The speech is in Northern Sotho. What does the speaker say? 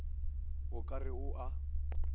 o ka re o a